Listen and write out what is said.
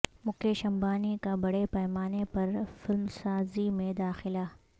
مکیش امبانی کا بڑے پیمانے پر فلمسازی میں داخلہ